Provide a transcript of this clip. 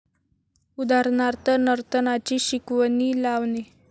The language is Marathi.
उदाहरणार्थ नर्तनाची शिकवणी लावणे.